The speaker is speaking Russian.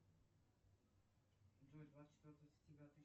джой двадцать четвертое сентября